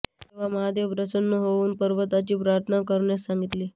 तेव्हा महादेव प्रसन्न होवुन पार्वतीची प्रार्थना करण्यास सांगितले